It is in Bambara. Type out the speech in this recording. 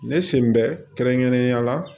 Ne sen bɛ kɛrɛnkɛrɛnnenya la